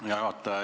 Hea juhataja!